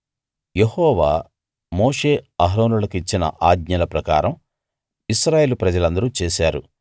యెహోవా మోషే అహరోనులకు ఇచ్చిన ఆజ్ఞల ప్రకారం ఇశ్రాయేలు ప్రజలందరూ చేశారు